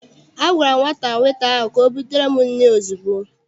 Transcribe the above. A gwara m nwata weta ahụ ka ọ butere m nri ozugbo!